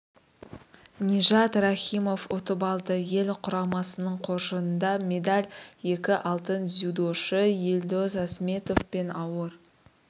нижат рахимов ұтып алды ел құрамасының қоржынында медаль екі алтын дзюдошы елдоса сметов пен ауыр